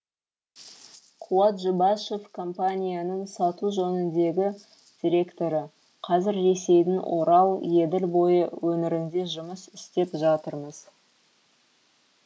қуат жұбашев компанияның сату жөніндегі директоры қазір ресейдің орал еділ бойы өңірінде жұмыс істеп жатырмыз